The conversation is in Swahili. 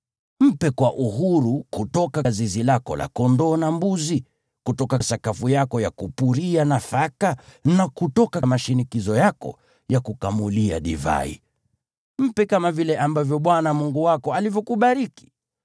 Mpe kwa uhuru kutoka zizi lako la kondoo na mbuzi, kutoka sakafu yako ya kupuria nafaka na kutoka mashinikizo yako ya kukamulia divai. Mpe kama vile ambavyo Bwana Mungu wako alivyokubariki.